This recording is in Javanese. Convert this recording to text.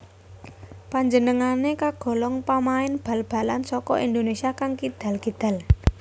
Panjenengané kagolong pamain bal balan saka Indonesia kang kidal kidal